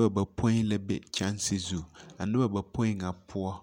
Dͻbͻ bapoi la be kyԑnse zu. A noba bapoi ŋa poͻ,